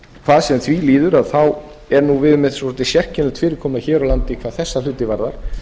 hvað sem því líður erum við með svolítið sérkennilegt fyrirkomulag hér á landi hvað eða hluti varðar